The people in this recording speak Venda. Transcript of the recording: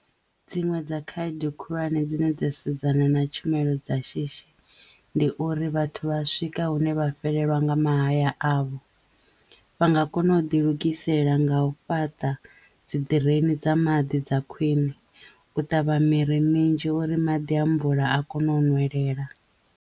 Dziṅwe dza khaedu khulwane dzine dza sedzana na tshumelo dza shishi ndi uri vhathu vha swika hune vha fhelelwa nga mahaya avho. Vha nga kono u ḓi lugisela nga u fhaṱa dzi ḓireni dza maḓi dza khwiṋe, u ṱavha miri minzhi uri maḓi amvula a kono nwelela.